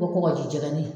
Ko kɔgɔji jɛnin